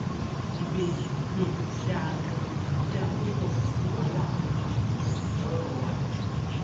ìbejì um dáa ganan á dáa púpọ kó sì wàhálà kankan um lọrọ wa